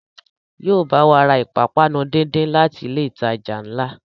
Yóò bá wa ra ìpápánu díndín láti ilé ìtajà ńlá